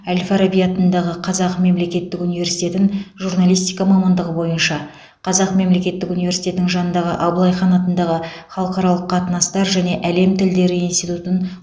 әл фараби атындағы қазақ мемлекеттік университетін журналистика мамандығы бойынша қазақ мемлекеттік университетінің жанындағы абылайхан атындағы халықаралық қатынастар және әлем тілдері институтын